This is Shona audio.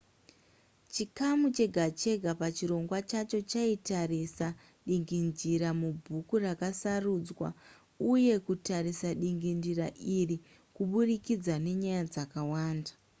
chikamu chega chega pachirongwa chacho chaitarisa dingindira mubhuku rakasarudzwa uye kutarisa dingindira iri kuburikidza nenyaya dzakawanda